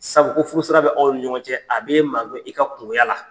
Sabu ko furu sira bɛ aw nin ɲɔgɔn cɛ, a b'e ma gɛn i ka kungoya la.